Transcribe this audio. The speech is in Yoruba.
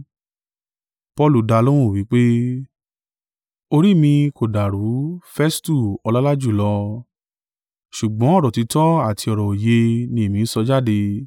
Paulu dalóhùn wí pé, “Orí mi kò dàrú, Festu ọlọ́lá jùlọ; ṣùgbọ́n ọ̀rọ̀ òtítọ́ àti ọ̀rọ̀ òye ni èmi ń sọ jáde.